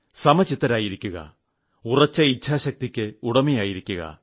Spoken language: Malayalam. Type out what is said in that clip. സമചിത്തരായിരിക്കുക ഉറച്ച ഇച്ഛാശക്തിയ്ക്ക് ഉടമയായിരിക്കുക